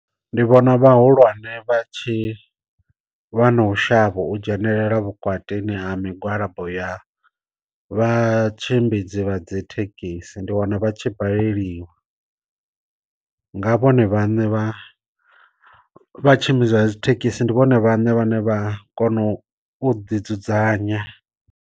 Ndi vhona vha hulwane vha tshi vha na u shavha u dzhenelela vhukatini ha migwalabo ya vha tshimbidzi vha dzi thekhisi ndi wana vha tshi baleliwa, nga vhone vhane vha vha tshimbidza dzi thekhisi ndi vhone vhane vha ne vha kona u ḓi dzudzanya.